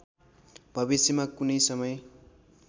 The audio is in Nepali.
भविष्यमा कुनै समय